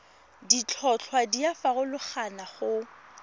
ditlhotlhwa di a farologana go